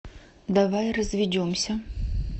давай разведемся